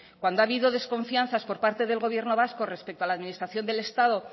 cuando ha habido desconfianzas por parte del gobierno vasco respecto a la administración del estado